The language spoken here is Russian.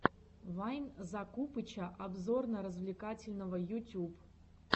вайн закупыча обзорно развлекательного ютюб